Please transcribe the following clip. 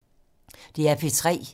DR P3